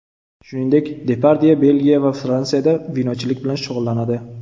Shuningdek, Depardye Belgiya va Fransiyada vinochilik bilan shug‘ullanadi.